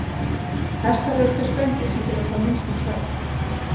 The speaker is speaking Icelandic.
Hestar eru þau spendýr sem þurfa hvað minnstan svefn.